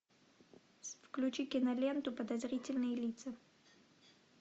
включи киноленту подозрительные лица